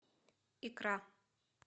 икра